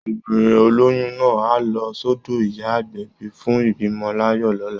Obìnrin oloyun náà á lọ sọ́dọ̀ ìyá agbẹ̀bí fún ìbímọ láyọ̀ lọ́la